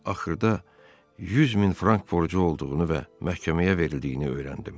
Axırda 100 min frank borcu olduğunu və məhkəməyə verildiyini öyrəndim.